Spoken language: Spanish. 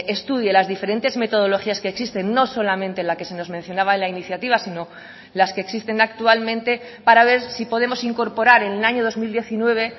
estudie las diferentes metodologías que existen no solamente la que se nos mencionaba en la iniciativa sino las que existen actualmente para ver si podemos incorporar en el año dos mil diecinueve